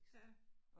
Ja